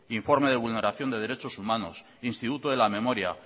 informe de vulneración de derechos humanos instituto de la memoria